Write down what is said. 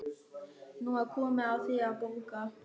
Nú er komið að þér að borga.